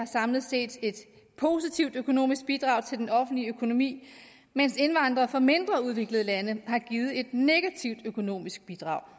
samlet set et positivt økonomisk bidrag til den offentlige økonomi mens indvandrere fra mindre udviklede lande har givet et negativt økonomisk bidrag